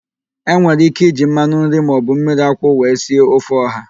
E nwere ike iji mmanụ nri maọbụ mmiriakwụ wee sie ofe ọha